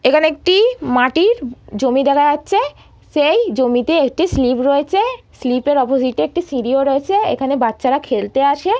এইখানে একটি মাটির জমি দেখা যাচ্ছে সেই জমিতে একটি স্লীপ রয়েছে। স্লীপ -এর অপোজিটে একটি সিঁড়িও রয়েছে সেইখানে বাচ্চারা খেলতে আসে।